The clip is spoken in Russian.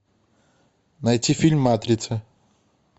найти фильм матрица